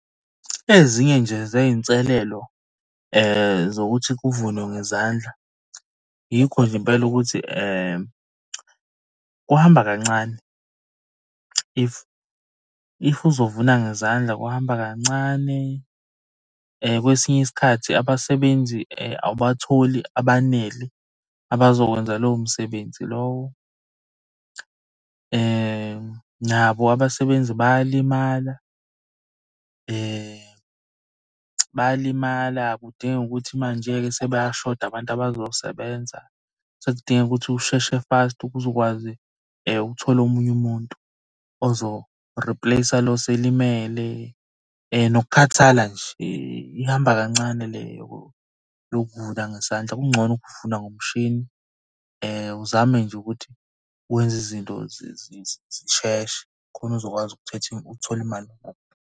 Ezinye nje zey'nselelo zokuthi kuvunwe ngezandla, yikho nje impela ukuthi kuhamba kancane. If, if uzovuna ngezandla kuhamba kancane. Kwesinye isikhathi abasebenzi awubatholi abanele abazokwenza lowo msebenzi lowo. Nabo abasebenzi bayalimala, bayalimala kudingeke ukuthi manje-ke sebayashoda abantu abazosebenza. Sekudingeka ukuthi usheshe fast ukuze uzokwazi ukuthola omunye umuntu ozo-replace lo oselimele. Nokukhathala nje, ihamba kancane le yokuvuna ngesandla. Kungcono ukuvuna ngomshini uzame nje ukuthi wenze izinto zisheshe khona uzokwazi uthole imali.